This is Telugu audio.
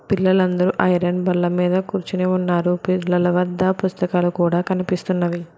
పిల్లలందరూ ఐరన్ బల్ల మీద కూర్చొని ఉన్నారు పిల్లలు వద్ద పుస్తకాలు కూడా కనిపిస్తున్నవి